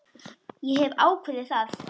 Ég hef ákveðið það.